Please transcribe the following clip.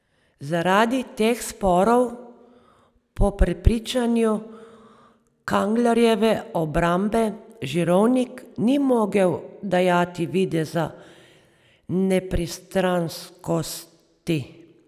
Zaradi teh sporov po prepričanju Kanglerjeve obrambe Žirovnik ni mogel dajati videza nepristranskosti.